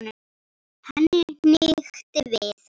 Henni hnykkti við.